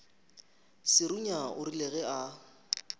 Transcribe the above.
serunya o rile ge a